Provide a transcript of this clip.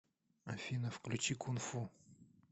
афина включи кунфу